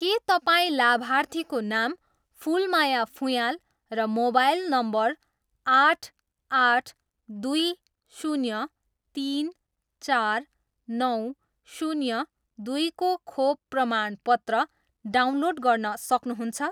के तपाईँ लाभार्थीको नाम फुलमाया फुँयाल र मोबाइल नम्बर आठ, आठ, दुई, शून्य, तिन, चार, नौ, शून्य, दुईको खोप प्रमाणपत्र डाउनलोड गर्न सक्नुहुन्छ?